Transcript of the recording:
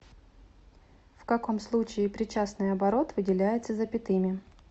в каком случае причастный оборот выделяется запятыми